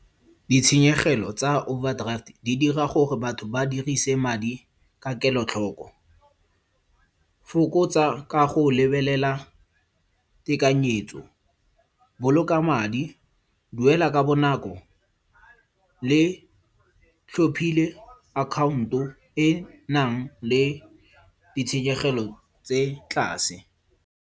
Ditshenyegelo tsa overdraft di dira gore batho ba dirise madi ka kelotlhoko. Fokotsa ka go lebelela tekanyetso. Boloka madi, duela ka bonako le tlhophile account-o e nang le ditshenyegelo tse tlase.